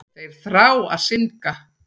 Þeir þrá að syndga.